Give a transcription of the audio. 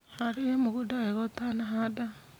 Harĩria mũgũnda wega ũtanahanda.